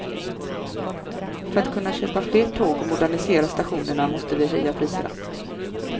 För att kunna köpa fler tåg och modernisera stationerna måste vi höja priserna.